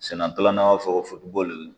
Sɛnɛ taalan fɔ bɔli